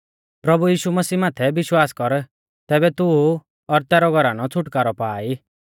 तिंउऐ बोलौ प्रभु यीशु मसीह माथै विश्वास कर तैबै तू और तैरौ घौर छ़ुटकारौ पा ई